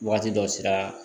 Waati dɔ sera